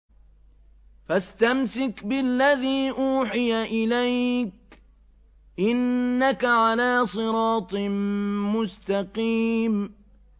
فَاسْتَمْسِكْ بِالَّذِي أُوحِيَ إِلَيْكَ ۖ إِنَّكَ عَلَىٰ صِرَاطٍ مُّسْتَقِيمٍ